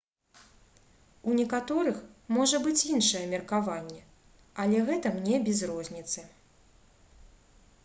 у некаторых можа быць іншае меркаванне але гэта мне без розніцы